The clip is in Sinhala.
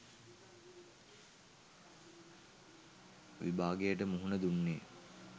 විභාගයට මුහුණ දුන්නේ.